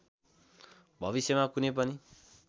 भविष्यमा कुनै पनि